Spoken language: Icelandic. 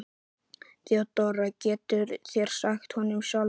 THEODÓRA: Það getið þér sagt honum sjálfur.